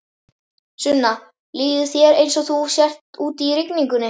Sunna: Líður þér eins og þú sért úti í rigningunni?